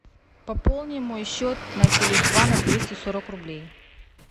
пополни мой счет на теле два на двести сорок рублей